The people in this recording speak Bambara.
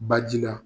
Baji la